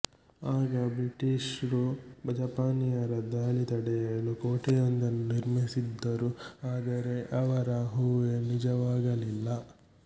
ಆಗ ಬ್ರಿಟಿಶ್ ರು ಜಪಾನಿಯರ ದಾಳಿ ತಡೆಯಲು ಕೋಟೆಯೊಂದನ್ನು ನಿರ್ಮಿಸಿದ್ದರು ಆದರೆ ಅವರ ಊಹೆ ನಿಜವಾಗಲಿಲ್ಲ